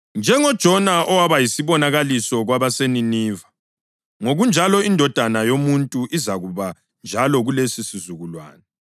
NjengoJona owaba yisibonakaliso kwabaseNiniva, ngokunjalo iNdodana yoMuntu izakuba njalo kulesisizukulwane.